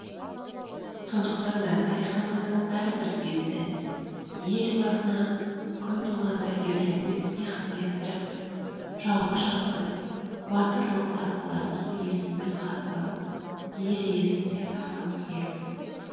сондықтан да тарихымыздың әрбір беті ел басына күн туғанда ерлермен иық теңестіріп жауға шапқан батыр рухты апаларымыздың есімімен хатталып ел есінде сақталып келеді